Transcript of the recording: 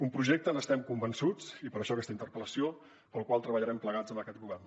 un projecte del qual estem convençuts i per això aquesta interpel·lació pel qual treballarem plegats amb aquest govern